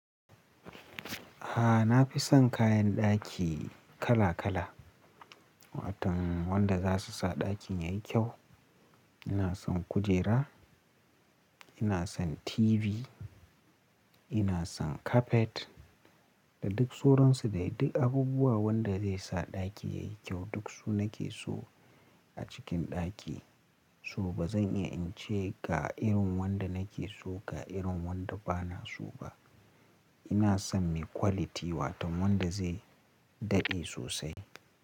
Ah, na fi son kayan ɗaki kala kala, waton wanda za su sa ɗakin ya yi kyau. Ina son kujera, ina son TV, ina son carpet da duk suransu da duk abubuwa wanda zai sa ɗaki ya yi kyau duk su nake so a cikin ɗaki. Toh, bazan iya in ce ga irin wanda nake so ga irin wanda bana so ba. Ina son me quality waton wanda zai daɗe sosai.